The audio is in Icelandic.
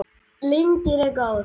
Lygin er góð.